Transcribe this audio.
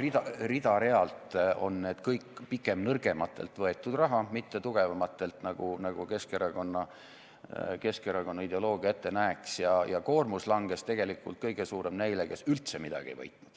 rida-realt on need kõik pigem nõrgematelt võetud raha, mitte tugevamatelt, nagu Keskerakonna ideoloogia ette näeks, ja koormus langes tegelikult kõige suurem neile, kes üldse midagi ei võitnud.